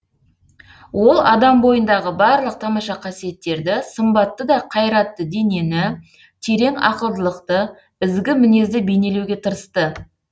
ол адам бойындағы барлық тамаша қасиеттерді сымбатты да қайратты денені терең ақылдылықты ізгі мінезді бейнелеуге тырысты